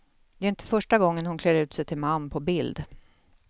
Det är inte första gången hon klär ut sig till man på bild.